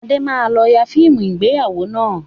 Adé máa lọ yà fíìmù ìgbéyàwó náà